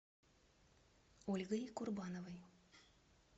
ольгой курбановой